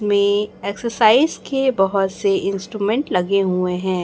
मे exercise के बहोत से इंस्ट्रूमेंट लगे हुए हैं।